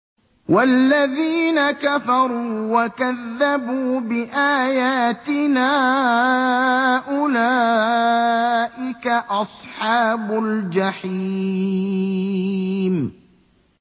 وَالَّذِينَ كَفَرُوا وَكَذَّبُوا بِآيَاتِنَا أُولَٰئِكَ أَصْحَابُ الْجَحِيمِ